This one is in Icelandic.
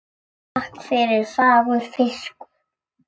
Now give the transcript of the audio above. Takk fyrir fagur fiskur.